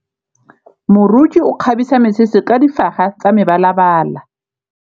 Moroki o kgabisa mesese ka difaga tsa mebalabala.